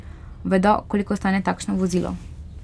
Vedo, koliko stane takšno vozilo.